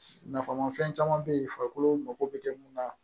Nafamafɛn caman bɛ yen farikolo mako bɛ mun na